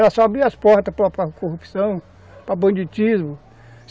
Ela só abre as portas para corrupção, para banditismo.